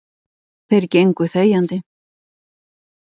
Þeir gengu þegjandi.